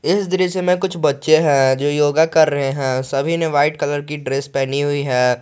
इस दृश्य में कुछ बच्चे हैं जो योगा कर रहे हैं सभी ने व्हाइट कलर की ड्रेस पहनी हुई है।